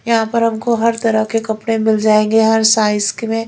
यहां पर हमको हर तरह के कपड़े मिल जाएंगे हर साइज क में--